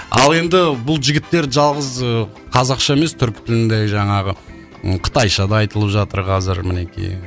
ал енді бұл жігіттер жалғыз ыыы қазақша емес түркі тіліндегі жаңағы қытайша да айтылып жатыр қазір мінекей